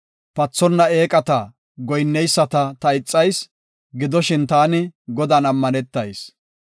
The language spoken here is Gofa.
Pathonna eeqata goyinneyisata ta ixayis; gidoshin taani Godan ammanetayis.